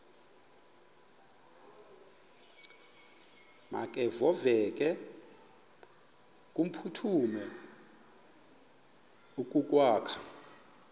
makevovike kumphuthumi okokwakhe